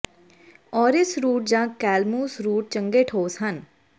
orris root ਜਾਂ calamus root ਚੰਗੇ ਠੋਸ ਚੋਣ ਹਨ